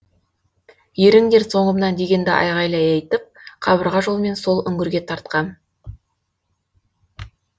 еріңдер соңымнан дегенді айқайлай айтып қабырға жолмен сол үңгірге тартқам